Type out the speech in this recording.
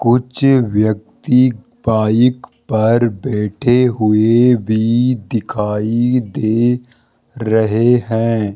कुछ व्यक्ति बाइक पर बैठे हुए भी दिखाई दे रहे हैं।